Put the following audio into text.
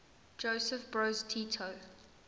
josip broz tito